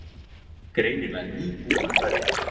Greinilega nýbúin að kveðja.